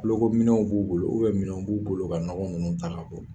Nɔgɔminɛnw b'u bolo, minɛn b'u bolo ka nɔgɔ ninnu ta